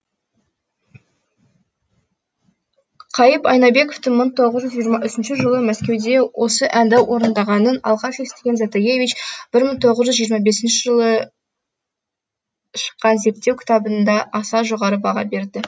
қайып айнабековтің мың тоғыз жүз жиырма үшінші жылы мәскеуде осы әнді орындағаның алғаш естіген затаевич бір мың тоғыз жүз жиырма бесінші жылы шыққан зерттеу кітабында аса жоғары баға береді